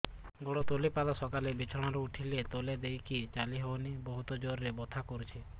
ଗୋଡ ତଳି ପାଦ ସକାଳେ ବିଛଣା ରୁ ଉଠିଲେ ତଳେ ଦେଇକି ଚାଲିହଉନି ବହୁତ ଜୋର ରେ ବଥା କରୁଛି